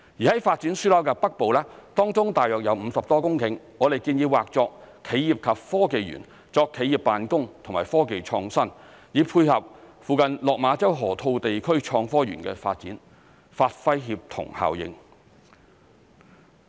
在發展樞紐的北部，當中約有50多公頃，我們建議劃作企業及科技園，作企業辦公和科技創新，以配合附近落馬洲河套地區創科園的發展，發揮協同效應。